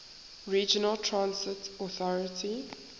regional transit authority